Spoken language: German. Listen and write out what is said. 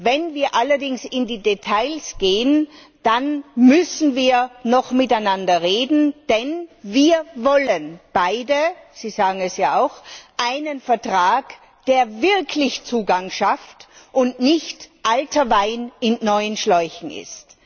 Wenn wir allerdings in die Details gehen, dann müssen wir noch miteinander reden, denn wir wollen beide Sie sagen es ja auch einen Vertrag, der wirklich Zugang schafft und nicht alter Wein in neuen Schläuchen ist.